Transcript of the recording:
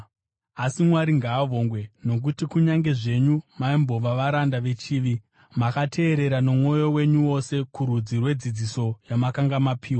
Asi Mwari ngaavongwe nokuti, kunyange zvenyu maimbova varanda vechivi, makateerera nomwoyo wenyu wose kurudzi rwedzidziso yamakanga mapiwa.